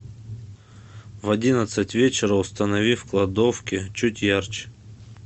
в одиннадцать вечера установи в кладовке чуть ярче